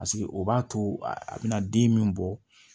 Paseke o b'a to a bɛna den min bɔ